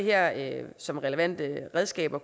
jeg kan som relevante redskaber